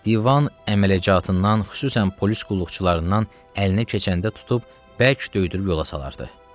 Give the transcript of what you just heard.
Divan əmələcatından, xüsusən polis qulluqçularından əlinə keçəndə tutub bərk döydürüb yola salardı.